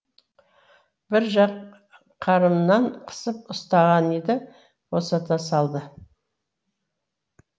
бір жақ қарымнан қысып ұстаған еді босата салды